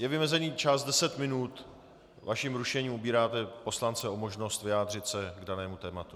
Je vymezený čas deset minut, vaším rušením obíráte poslance o možnost vyjádřit se k danému tématu.